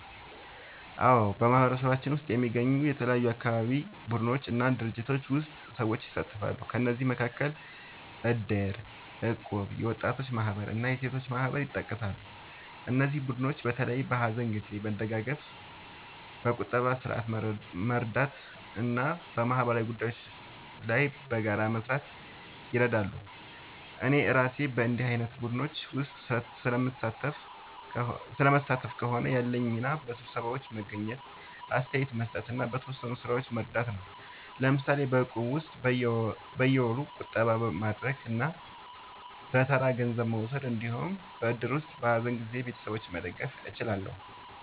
አዎ፣ በማህበረሰባችን ውስጥ የሚገኙ የተለያዩ አካባቢ ቡድኖች እና ድርጅቶች ውስጥ ሰዎች ይሳተፋሉ። ከእነዚህ መካከል እድር፣ እቁብ፣ የወጣቶች ማህበር እና የሴቶች ማህበር ይጠቀሳሉ። እነዚህ ቡድኖች በተለይ በሀዘን ጊዜ መደጋገፍ፣ በቁጠባ ስርዓት መርዳት እና በማህበራዊ ጉዳዮች ላይ በጋራ መስራት ይረዳሉ። እኔ እራሴ በእንዲህ ዓይነት ቡድኖች ውስጥ ስለምሳተፍ ከሆነ፣ ያለኝ ሚና በስብሰባዎች መገኘት፣ አስተያየት መስጠት እና በተወሰኑ ሥራዎች መርዳት ነው። ለምሳሌ በእቁብ ውስጥ በየወሩ ቁጠባ ማድረግ እና በተራ ገንዘብ መውሰድ እንዲሁም በእድር ውስጥ በሀዘን ጊዜ ቤተሰቦችን መደገፍ እችላለሁ።